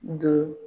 Do